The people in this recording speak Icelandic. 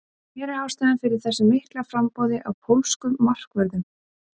Hver er ástæðan fyrir þessu mikla framboði á pólskum markvörðum?